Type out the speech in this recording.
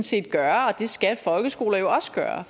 set gøre og det skal folkeskoler jo også gøre